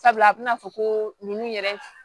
Sabula a bɛna fɔ ko ninnu yɛrɛ